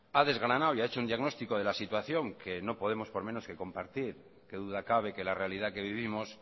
ha desgranado y ha hecho un diagnóstico de la situación que no podemos por menos que compartir que duda cabe que la realidad que vivimos